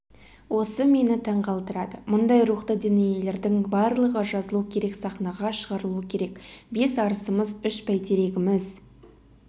осы мені таңғалдырады мұндай рухты дүниелердің барлығы жазылу керек сахнаға шығарылу керек бес арысымыз үш бәйтерегіміз